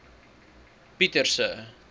pieterse